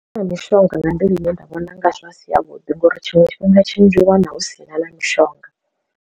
Ndi nga mishonga nga nḓila ine nda vhona unga zwa si ya vhuḓi ngori tshiṅwe tshifhinga tshinzhi hu vha hu si na na mishonga.